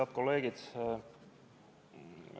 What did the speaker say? Head kolleegid!